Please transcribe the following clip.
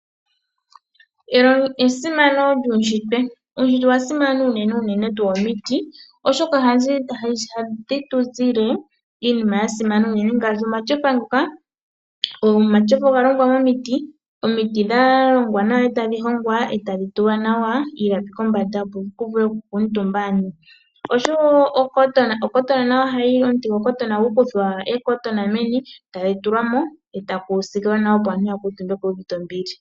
Esimano lyuushitwe Uushitwe owa simana unene, unene tuu omiti, oshoka hadhi tu zile iinima mbyoka ya simana ngaashi omatyofa. Omatyofa oga longwa momiti omiti ndhoka tadhi hongwa e tadhi tulwa nawa iilapi kombanda, opo ku vule okukuutumba aantu oshowo oondhilewu nadho ohadhi kuthwa oondhilewu tadhi tulwa ko eta ku siikilwa nawa, opo aantu ya kuutumbe nawa yu uvite ombili.